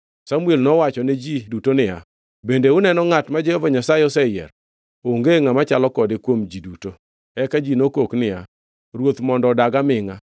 Samuel nowachone ji duto niya, “Bende uneno ngʼat ma Jehova Nyasaye oseyiero? Onge ngʼama chalo kode kuom ji duto.” Eka ji nokok niya, “Ruoth mondo odag amingʼa!”